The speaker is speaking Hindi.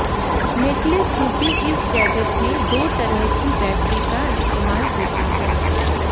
नेकलेस रूपी इस गैजेट में दो तरह की बैटरी का इस्तेमाल होता है